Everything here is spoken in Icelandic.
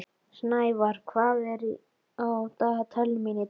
Snævar, hvað er á dagatalinu mínu í dag?